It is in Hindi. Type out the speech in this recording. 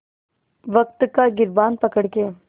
वक़्त का गिरबान पकड़ के